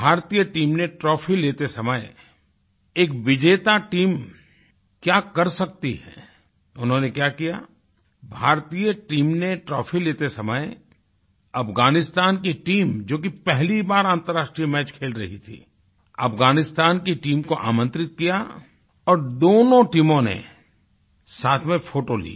भारतीय टीम ने ट्रॉफी लेते समय एक विजेता टीम क्या कर सकती है उन्होंने क्या कियाभारतीय टीम ने ट्रॉफी लेते समय अफगानिस्तान की टीम जो कि पहली बार अन्तर्राष्ट्रीय मैच खेल रही थीअफगानिस्तान की टीम को आमंत्रित किया और दोनों टीमों ने साथ में फोटो ली